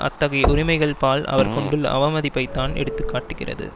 அத்தகைய உரிமைகள்பால் அவர் கொண்டுள்ள அவமதிப்பைத்தான் எடுத்து காட்டுகிறது